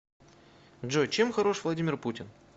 джой чем хорош владимир путин